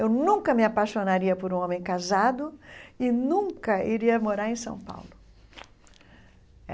Eu nunca me apaixonaria por um homem casado e nunca iria morar em São Paulo.